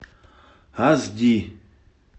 аш ди